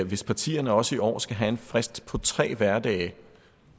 hvis partierne også i år skal have en frist på tre hverdage